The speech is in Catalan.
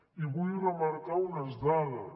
i vull remarcar unes dades